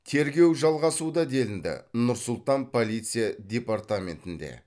тергеу жалғасуда делінді нұр сұлтан полиция департаментінде